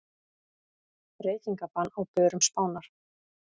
Reykingabann á börum Spánar